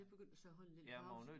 Jeg begyndte så at holde en lille pause